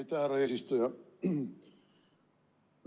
Aitäh, härra eesistuja!